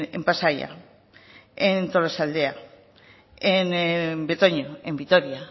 en pasaia en tolosaldea en betoño en vitoria